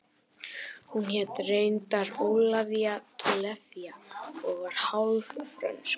Hún hét reyndar Ólafía Tolafie og var hálf frönsk